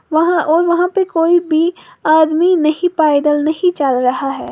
वहाँ और वहां पर कोई भी आदमी नही पैदल नहीं चल रहा है।